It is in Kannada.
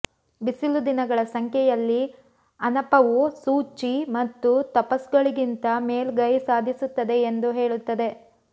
ಬಿಸಿಲು ದಿನಗಳ ಸಂಖ್ಯೆಯಲ್ಲಿ ಅನಪವು ಸೋಚಿ ಮತ್ತು ತುಪಸ್ಗಳಿಗಿಂತ ಮೇಲುಗೈ ಸಾಧಿಸುತ್ತದೆ ಎಂದು ಹೇಳುತ್ತದೆ